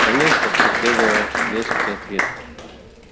конечно последовал резкий ответ